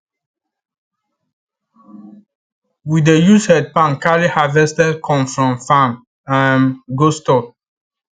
we dey use head pan carry harvested corn from farm um go store